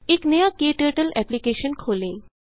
एक नया क्टर्टल एप्लिकेशन खोलें